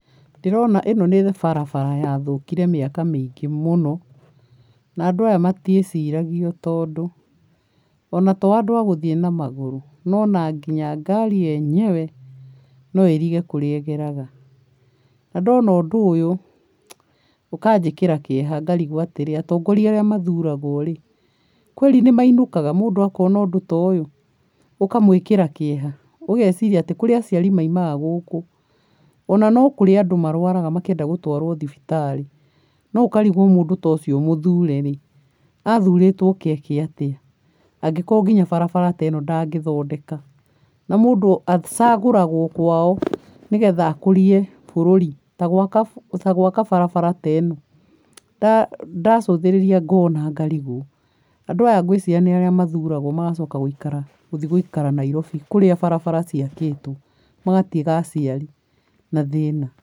Ndĩrona ĩno nĩ barabara yathũkire mĩaka mĩingĩ mũno, na andũ aya matiĩciragia tondũ, ona to andũ a gũthiĩ na magũrũ, no ona nginya ngari yenyewe no ĩrige kũrĩa ĩgeraga, na ndona ũndũ ũyũ ũkanjĩkĩra kĩeha ngarigwo atĩrĩ, atongoria arĩa mathuraga rĩ, kweli nĩ mainũkaga makona ũndũ ta ũyũ ũkamwĩkĩra kĩeha, ũgeciria atĩ kũrĩ aciari maimaga gũkũ, ona no kũrĩ andũ marwaraga makĩenda gũtwarwo thibitarĩ, no ũkarigwo mũndũ ta ũcio mũthuure rĩ, athurĩtwo oke eke atĩa, angĩkorwo nginya barabara ta ĩno ndangĩthondeka? Na mũndũ acagũragwo kwao nĩgetha akũrie bũrũri ta gwaka barabara ta ĩno. Ndacothĩrĩria ngona ngarigwo, andũ aya ngwĩciria nĩ arĩa mathuragwo magacoka gũikara gũthiĩ gũikara Nairobi kũrĩa barabara ciakĩtwo magatiga aciari na thĩna.